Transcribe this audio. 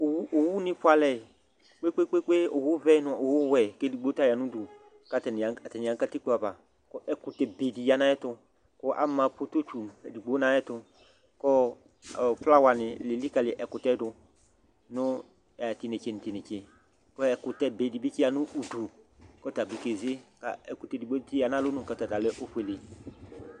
Owuni fualɛ abu kpekpe kpekpe owu vɛ nu owu wɛ kedigbo ta yanu udu ɛdini yanu katikpo ava ɛkutɛ bee di yanu ayɛtu ama pototsu edigbo nu ayɛtu ku flawa nu eli kali ɛkutɛ du nu tinetse tinetse ɛkutɛ bee di sia nu atamidu ɛkutɛ dibi siya nu alɔnu ɔta ta efuele